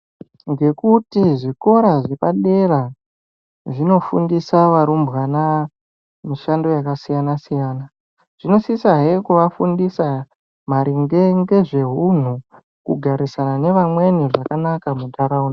Ngekuti zvikora zvepadera zvinofundisa varumbwana mishando yakasiyana siyana zvinosisahe kuafundisa maringe ngezvehunhu kugarisana nevamweni zvakanaka muntharaunda.